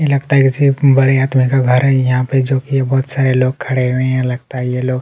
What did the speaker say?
ये लगता है किसी ब बड़े आदमी का घर है यहाँ पे जो की बहुत सारे लोग खड़े हुए हैं लगता है ये लोग--